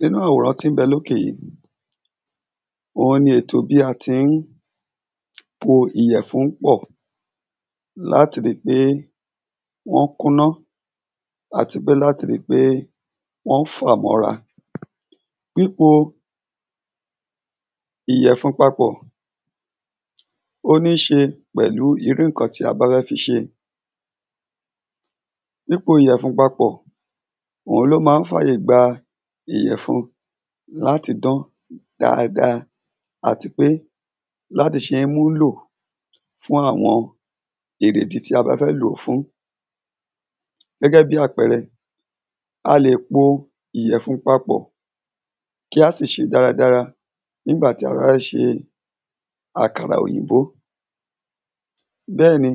nínú àwòrán tí ń bẹ lókè yí òhun ni ètò bí a ti ń po ìyẹ̀fun pọ̀ láti ri pé wọ́n kúná àti pé láti ri pé wọ́n fà mọ́ ra pípo ìyẹ̀fun papọ̀ ó níṣe pẹ̀lú irú ǹkan tí a bá fẹ́ fi ṣe pípo ìyẹ̀fun papọ̀ òhun ló máa ń fàyè gba ìyẹ̀fun láti dán dáadáa àti pé láti ṣe ń múlò fún àwọn ìrè ìdí tí a bá fẹ́ lò fún gẹ́gẹ́ bí àpẹrẹ a lè po ìyẹ̀fun papọ̀ kí a sì ṣé dáradára nígbà tí a bá fẹ́ ṣe àkàrà òyìnbó bẹ́ẹ̀ni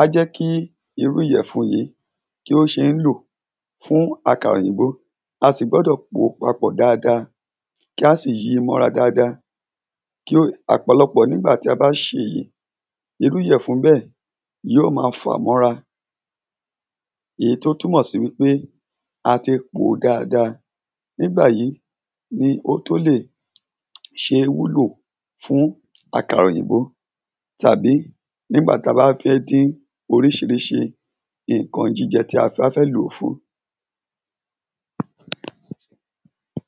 á jẹ́ kí irú ìyẹ̀fun yìí kí ó ṣe ń lò fún àkàrà òyìnbó a sì gbọ́dọ̀ pó papọ̀ dáadáa kí a sì yi mọ́ra dáadáa kí ó ọ̀pọ̀lọpọ̀ nígbà tí a bá ṣe èyí irú ìyẹ̀fun bẹ́ẹ̀ yoó ma fà mọ́ra èyí tó túnmọ̀ sí wípe ati pòó dáadáa nígbàyí ni ó tó lè ṣe wúlò fún àkàrà òyìnbó tàbí nígbà ta bá fẹ́ dín oríṣiríṣi ǹkan jíjẹ tí a bá fẹ́ lòó fún